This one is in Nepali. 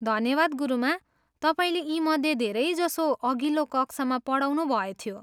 धन्यवाद, गुरुमा, तपाईँले यीमध्ये धेरैजसो अघिल्लो कक्षामा पढाउनुभएथ्यो।